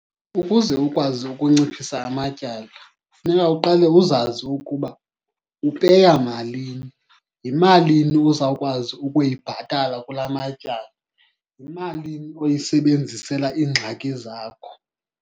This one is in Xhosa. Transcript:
Ukuze ukwazi ukunciphisa amatyala funeka uqale uzazi ukuba upeya malini, yimalini ozawukwazi ukuyibhatala kulaa matyala, yimalini oyisebenzisela iingxaki zakho.